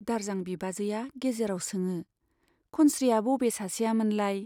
दारजां बिबाजैया गेजेराव सोङो, खनस्रीया बबे सासेया मोनलाय ?